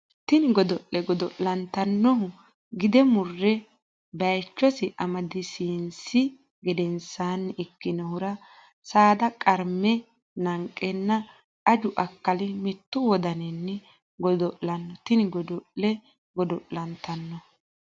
Tini godo le godo lantannohu gide murre baychosi amadisiinsi gedensaanni ikkinohura saada qarme nanqeenna aju akkali mittu wodaninni godo lanno Tini godo le godo lantannohu.